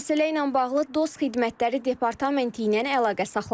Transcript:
Məsələ ilə bağlı DOST Xidmətləri Departamenti ilə əlaqə saxladıq.